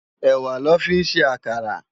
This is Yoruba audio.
Èwá lò fi n sé àkárà